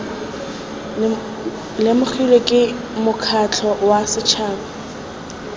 lemogilwe ke mokgatlho wa setšhaba